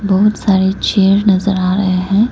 बहोत सारे चेयर नजर आ रहे हैं।